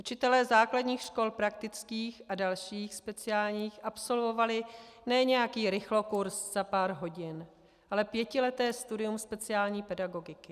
Učitelé základních škol praktických a dalších speciálních absolvovali ne nějaký rychlokurs za pár hodin, ale pětileté studium speciální pedagogiky.